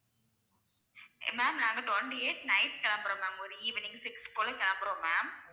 ma'am நாங்க twenty eight night கிளம்புறோம் ma'am ஒரூ evening six போல கிளம்புறோம் ma'am